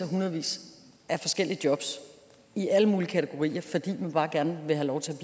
hundredvis af forskellige jobs i alle mulige kategorier fordi man bare gerne vil have lov til